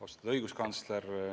Austatud õiguskantsler!